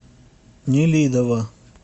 нелидово